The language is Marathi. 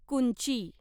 कुंची